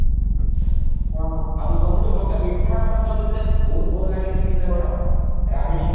ଆଉ ସବୁଠୁ ମତେ ମିଠା ମାନଙ୍କ ଭିତରେ ବହୁତ ଭଲ ଲାଗେ କେମତି ନା କଣ ରାବିଡି